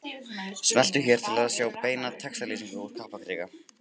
Smelltu hér til að sjá beina textalýsingu úr Kaplakrika